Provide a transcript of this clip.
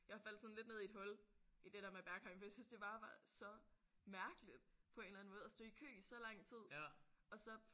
Jeg faldt sådan lidt ned i et hul i det der med Berghain for jeg syntes at det bare var så mærkeligt på en eller anden måde at stå i kø i så lang tid og så